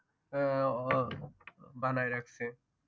আহ বানাই রাখছে